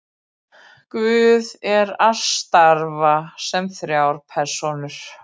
guð er og starfar sem þrjár persónur